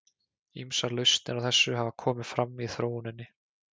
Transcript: Ýmsar lausnir á þessu hafa komið fram í þróuninni.